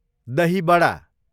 दही बडा